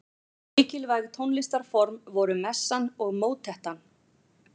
Mikilvæg tónlistarform voru messan og mótettan.